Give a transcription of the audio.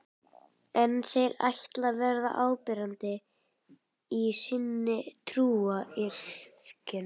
En ætla þeir að vera áberandi í sinni trúariðkun?